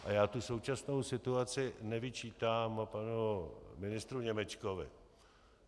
A já tu současnou situaci nevyčítám panu ministru Němečkovi.